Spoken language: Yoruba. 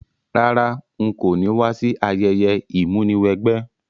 Rárá, n ko ni wa si ayẹyẹ ìmúniwẹgbẹ́